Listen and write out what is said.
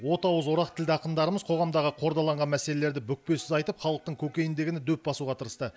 от ауыз орақ тілді ақындарымыз қоғамдағы қордаланған мәселелерді бүкпесіз айтып халықтың көкейіндегіні дөп басуға тырысты